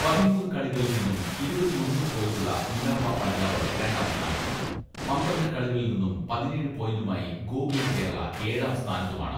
പതിമൂന്ന് കളികളിൽ നിന്നും ഇരുപത്തിയൊന്ന് പോയിന്റുള്ള മിനർവ പഞ്ചാബ് രണ്ടാം സ്ഥാനത്തും, പന്ത്രണ്ട് കളികളിൽ നിന്നും പതിനേഴ് പോയിന്റുമായി ഗോകുലം കേരള ഏഴാം സ്ഥാനത്തുമാണ്.